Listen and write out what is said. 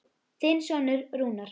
Þinn sonur Rúnar.